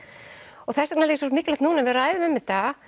og þess vegna er svo mikilvægt núna að við ræðum um þetta